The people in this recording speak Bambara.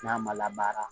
N'a ma labaara